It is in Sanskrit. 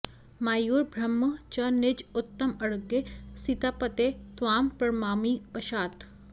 मायूर बर्हम् च निज उत्तम अङ्गे सीतापते त्वाम् प्रणमामि पश्चात्